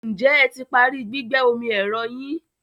Ǹjẹ́ ẹ ti parí gbígbẹ́ omi ẹ̀rọ yín?